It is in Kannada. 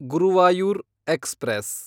ಗುರುವಾಯೂರ್ ಎಕ್ಸ್‌ಪ್ರೆಸ್